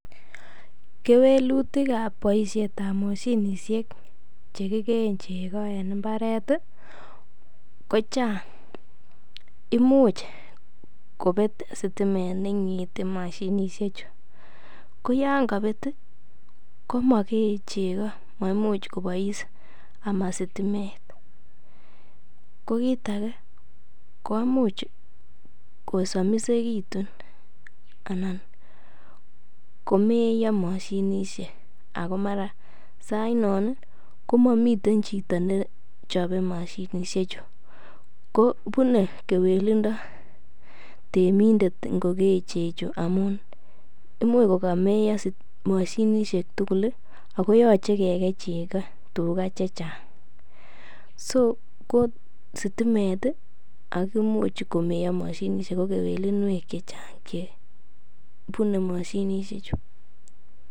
Kewelutik ab boisiet ab moshinishek che kigeen chego en mbaret kochang imuch kobet sitimet ne ing'ete moshinisheju, ko yon kobet komokee chego. Maimuche koboi ama sitimet ko kiit age koimuch kosomisegitun anan komeyo moshinisiek ago mara sainon komomiten chito nechobe moshinsheju, ko bune kewelindo temindet ngokee cheju amun imuch kogomeiyo moshinishek tugul ago yoche kigeiy chego tuga che chang so ko sitimet, ak imuch komeye moshinishek ak kewelinwek che chang che bune moshinisheju.